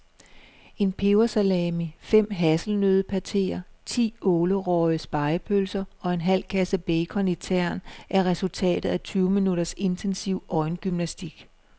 En pebersalami, fem hasselnøddepateer, ti ålerøgede spegepølser og en halv kasse bacon i tern er resultatet af tyve minutters intensiv øjengymnastik.